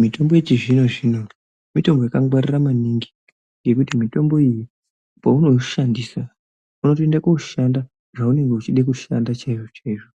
Mitombo yechizvino zvino mitombo yakangwarira maningi yekuti mitombo iyi peunoushandisa unotoenda koshanda zvaunge uchida kushanda chaizvo chaizvo